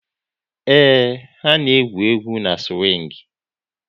Ee, ha na-egwu egwu n'siwing